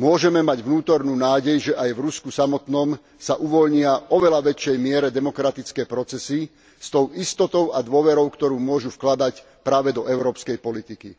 môžeme mať vnútornú nádej, že aj v Rusku samotnom sa uvoľnia v oveľa väčšej miere demokratické procesy s tou istotou a dôverou, ktorú môžu vkladať práve do európskej politiky.